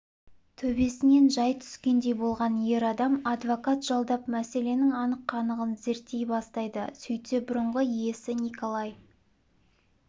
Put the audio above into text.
төбесінен жай түскендей болған ер адам адвокат жалдап мәселенің анық-қанығын зерттей бастайды сөйтсе бұрынғы иесі николай